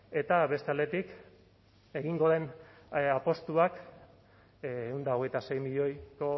eta beste aldetik egingo den apustuak ehun eta hogeita sei milioiko